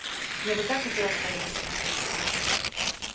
мне бы так хотелось поехать с ними